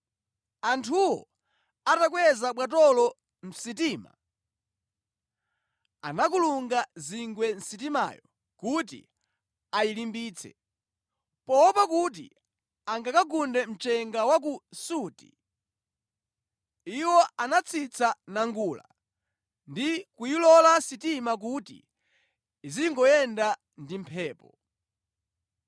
Anthuwo atakweza bwatolo mʼsitima, anakulunga zingwe sitimayo kuti ayilimbitse. Poopa kuti angakagunde mchenga wa ku Surti, iwo anatsitsa nangula ndi kuyilola sitima kuti idzingoyenda ndi mphepo.